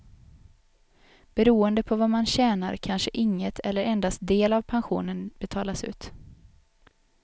Beroende på vad man tjänar kanske inget eller endast del av pensionen betalas ut.